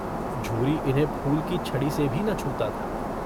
झूरी इन्हें फूल की छड़ी से भी न छूता था।